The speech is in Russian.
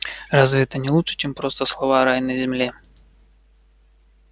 разве это не лучше чем просто слова рай на земле